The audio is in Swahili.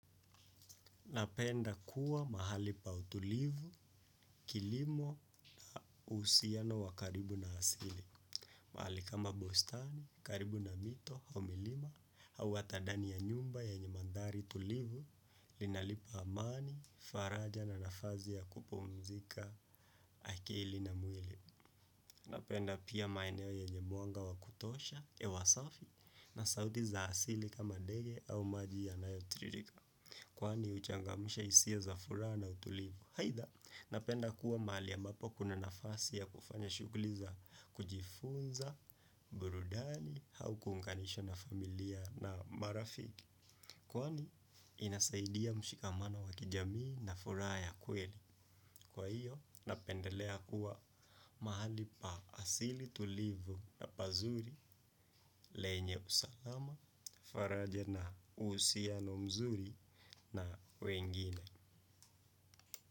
Napenda kuwa mahali pa utulivu, kilimo, uhusiano wa karibu na asili. Mahali kama bustani, karibu na mito, au milima, au ata dani ya nyumba yenye mandhari tulivu, linalipa amani, faraja na nafazi ya kupumzika, akili na mwili. Napenda pia maeneo yenye mwanga wa kutosha, ewa safi, na sauti za asili kama ndege au maji yanayo tiririka. Kwani uchangamusha isia za fura na utulivu. Haitha, napenda kuwa mahali ambapo kuna nafasi ya kufanya shuguli za kujifunza, burudani, hau kunganishwa na familia na marafiki. Kwani, inasaidia mshikamano wa kijamii na fura ya kweli. Kwa hiyo, napendelea kuwa mahali pa asili tulivu na pazuri lenye usalama, faraja na usiano mzuri na wengine.